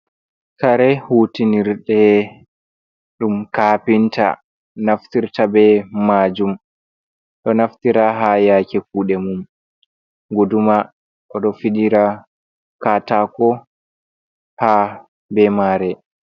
Kare hutinirde ɗum kapinta naftirta be majum. Ɗo naftira ha yake kuɗe mum. Guduma oɗo fidira katako ha be mare.